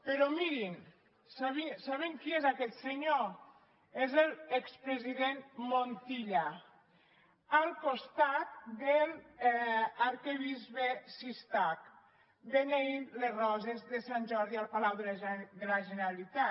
però mirin saben qui és aquest senyor és l’expresident montilla al costat de l’arquebisbe cistach beneint les roses de sant jordi al palau de la generalitat